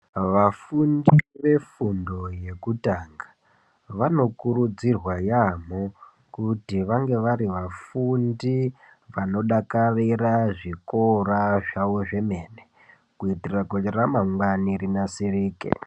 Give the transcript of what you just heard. Aafundi vefundo yekutanga vanokurudzirwe yaamho kuti vange vari vafundi vanodakarira zvikora zvavo zvemene. Kuitira kuti ramangwana ravo rinasirike.